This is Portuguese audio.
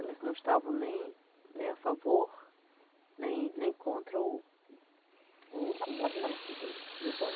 Elas não estavam nem nem a favor, nem nem contra o o movimento do do golpe.